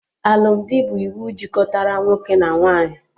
Alụmdi bụ iwu jikọtara nwoke na nwaanyị